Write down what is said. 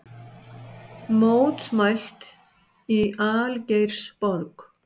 Mótmælt í Algeirsborg